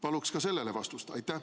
Palun ka sellele vastust!